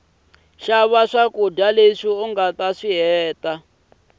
shava swakuja leswi ungataswihheta